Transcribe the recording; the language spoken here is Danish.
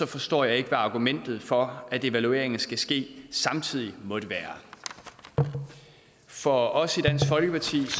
forstår jeg ikke hvad argumentet for at evalueringerne skal ske samtidig måtte være for os i dansk folkeparti